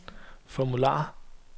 formular